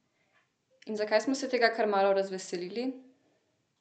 In zakaj smo se tega kar malo razveselili?